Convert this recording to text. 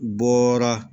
Bɔra